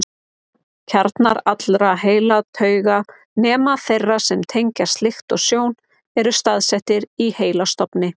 Kjarnar allra heilatauga, nema þeirra sem tengjast lykt og sjón, eru staðsettir í heilastofni.